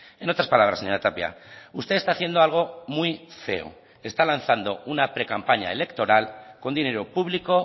en otras palabras señora tapia usted está haciendo algo muy feo está lanzando una precampaña electoral con dinero público